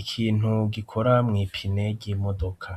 ikintu gikora mwipine ry'imodoka.